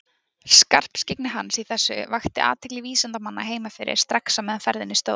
Skarpskyggni hans í þessu vakti athygli vísindamanna heima fyrir strax á meðan á ferðinni stóð.